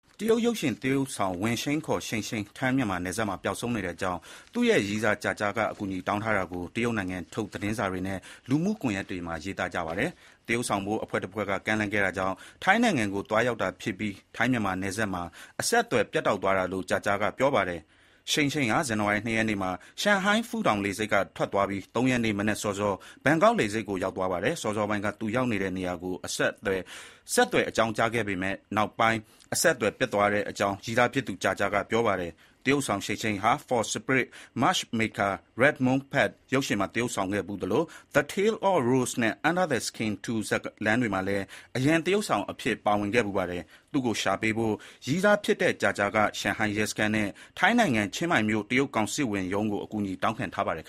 တရုတ် ရုပ်ရှင်သရုပ်ဆောင် Wang Xing ခေါ် Xing Xing ထိုင်းမြန်မာနယ်စပ်မှာ ပျောက်ဆုံးနေတဲ့အကြောင်း သူ့ရဲ့ ရည်းစား Jia Jia က အကူအညီတောင်းထားတာကို တရုတ်နိုင်ငံထုတ် သတင်းစာတွေနဲ့ လူမှုကွန်ယက်တွေမှာ ရေးသားထားပါတယ်။ သရုပ်ဆောင်ဖို့ အဖွဲ့တဖွဲ့က ကမ်းလှမ်းခဲ့တာကြောင့် ထိုင်းနိုင်ငံကိုသွားရောက်တာဖြစ်ပြီး ထိုင်း မြန်မာနယ်စပ်မှာ အဆက်အသွယ်ပြတ်တောက်သွားတာလို့ သူ့ရဲ့ ရည်းစား Jia Jia က ပြောပါတယ်။ Xing Xing ဟာ ဇန္နဝါရီလ ၂ ရက်နေ့မှာ Shanghai Pudong လေဆိပ်က ထွက်သွားပြီး ၃ ရက်နေ့ မနက်စောစော ထိုင်းနိုင်ငံ ဘန်ကောက်လေဆိပ်ကို ရောက်သွားပါတယ်။ စောစောပိုင်းက သူ ရောက်နေတဲ့နေရာကို ဆက်သွယ် အကြောင်းကြားခဲ့ပေမဲ့ နောက်ပိုင်း အဆက်အသွယ် ပြတ်သွားတဲ့အကြောင်း ရည်းစားဖြစ်သူ Jia Jia က ပြောပါတယ်။ သရုပ်ဆောင် Xing Xing ဟာ Fox Spirit Matchmaker: Red-Moon Pact ရုပ်ရှင်မှာ သရုပ်ဆောင်ခဲ့ဖူးသလို The Tale of Rose နဲ့ Under the Skin 2 ဇာတ်လမ်းတွေမှာလည်း အရန်သရုပ်ဆောင်အဖြစ် ပါဝင်ခဲ့ဖူးပါတယ်။ သူ့ကို ရှာပေးဖို့ ရည်းစား Jia Jia က ရှန်ဟိုင်းရဲစခန်းနဲ့ ထိုင်းနိုင်ငံ ချင်းမိုင်မြို့ တရုတ်ကောင်စစ်ဝင်ရုံးကို အကူအညီ တောင်းခံထားပါတယ်